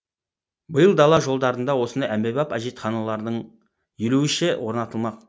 биыл дала жолдарында осындай әмбебап әжетханалардың елу үші орнатылмақ